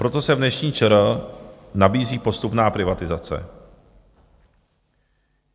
Proto se v dnešní ČR nabízí postupná privatizace.